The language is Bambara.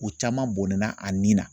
U caman bɔnɛna a ni na